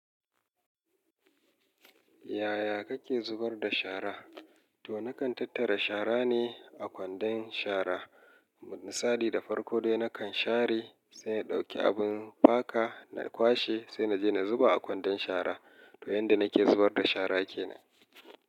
Yaya kake zubar da shara? To na kan tattara shara ne a kwandon shara. Misali da farko dai na kan share sai na ɗauki abin faka na kwashe sai naje na zuba a kwandon shara. To yan da nake zubar da shara kenan.